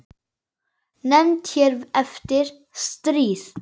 Nefnd hér eftir: Stríð.